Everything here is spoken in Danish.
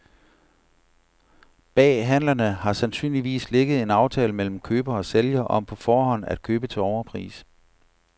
Bag handlerne har sandsynligvis ligget en aftale mellem køber og sælger om på forhånd at købe til overpris.